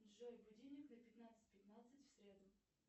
джой будильник на пятнадцать пятнадцать в среду